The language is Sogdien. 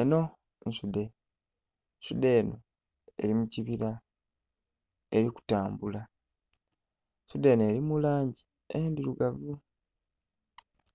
Enho nsudhe ensudhe enho eri mu kibila eri ku tambula, ensudhe enho eri mu langi endhirugavu